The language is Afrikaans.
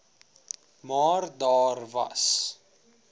maar daar was